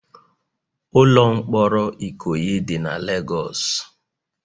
Ụlọ mkpọrọ Ikoyi dị na Legọs